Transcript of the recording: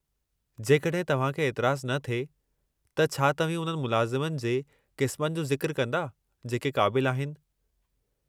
जेकॾहिं तव्हां खे एतिराज़ु न थिए, त छा तव्हीं उन्हनि मुलाज़मनि जे क़िस्मनि जो ज़िक्रु कंदा जेके क़ाबिल आहिनि?